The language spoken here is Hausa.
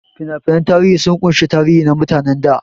Fina-finan tarihi sun ƙunshi tarihi na mutanen da.